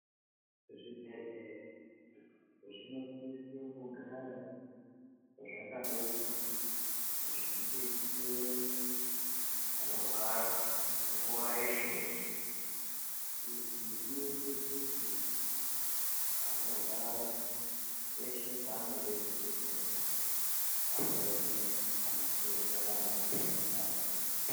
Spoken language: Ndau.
Zvibhehleya zvinosisa kugara zvakabeuka nguwa zveidetsera vanorwara nguwa yeshe yeshe izvi zvinoita kuti vanorwa peshe pavanoda kubetserwa vanoona anachiremba nanamukoti varipo.